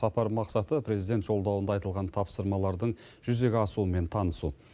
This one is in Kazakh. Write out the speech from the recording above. сапар мақсаты президент жолдауында айтылған тапсырмалардың жүзеге асуымен танысу